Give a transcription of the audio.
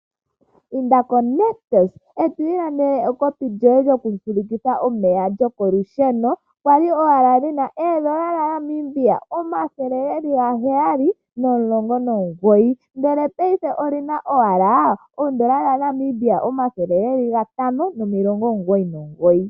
Inda koNictus eto ilandele ekopi lyoye lyoku fulukitha omeya lyoko lusheno. Olyali lyina oondola dhaNamibia omathele gaheyali nomulongo nogoyi, ndele paife olyina ashike eedola dhaNamibia omathele gatano nomilongo omugoyi nogoyi.